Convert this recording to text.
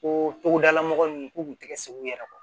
Ko togodala mɔgɔ nunnu k'u kun tɛgɛ sigin u yɛrɛ kɔ